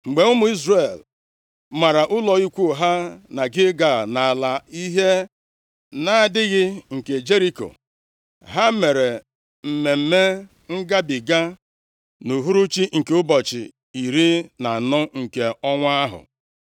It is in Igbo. Mgbe ụmụ Izrel mara ụlọ ikwu ha na Gilgal nʼala ihe nʼadịghị nke Jeriko, ha mere Mmemme Ngabiga nʼuhuruchi nke ụbọchị iri na anọ nke ọnwa ahụ.